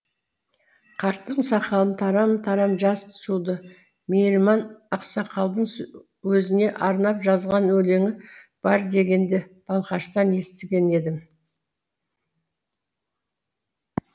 қарттың сақалын тарам тарам жас жуды мейірман ақсақалдың өзіне арнап жазған өлеңі бар дегенді балқаштан естіген едім